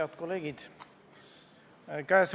Head kolleegid!